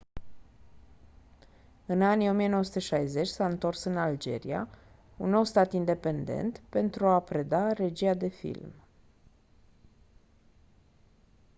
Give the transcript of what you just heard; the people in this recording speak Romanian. în anii 1960 s-a întors în algeria un nou stat independent pentru a preda regia de film